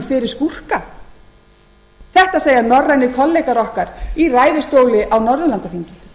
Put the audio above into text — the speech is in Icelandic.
skúrkum fyrir skúrka þetta segja norrænir kollegar okkar í ræðustóli á norðurlandaþingi